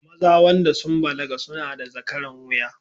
Maza wanda sun balaga suna da zakaran wuya